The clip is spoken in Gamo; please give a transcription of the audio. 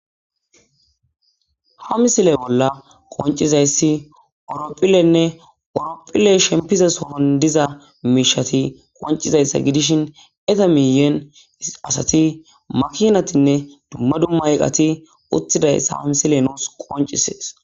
ha misiley bolla qoncizayssi ooropphilenne oorophilley shempize sohon diza miishati qoncizayssa gidishin eta miyen asati makinatinne dumma dumma iqati uttidayssa ha misile nuus qoncisees